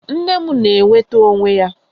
Nne m na-enweta onwe ya